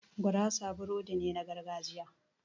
Gurasa burodi ne na gargajiya